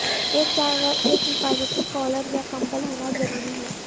ایک جانور ایک حفاظتی کالر یا کمبل ہونا ضروری ہے